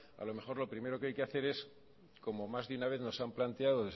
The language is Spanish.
a lo mejor lo primero que hay que hacer es como más de una vez nos han planteado